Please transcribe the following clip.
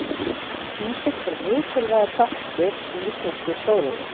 Kísill er mikilvægur þáttur í íslenskri stóriðju.